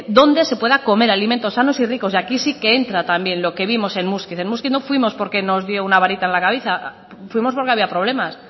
donde se pueda comer alimentos sanos y ricos y aquí sí que entra también lo que vimos en muskiz en muskiz no fuimos porque nos dio una varita en la cabeza fuimos porque había problemas